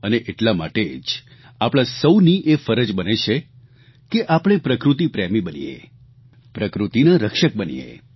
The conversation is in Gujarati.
અને એટલા માટે જ આપણા સૌની એ ફરજ બને છે કે આપણે પ્રકૃતિ પ્રેમી બનીએ પ્રકૃતિના રક્ષક બનીએ